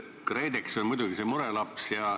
KredEx on muidugi see murelaps.